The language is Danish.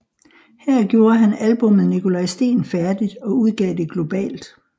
Her gjorde han albummet Nikolaj Steen færdigt og udgav det globalt